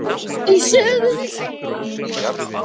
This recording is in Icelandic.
Í sögunni segir: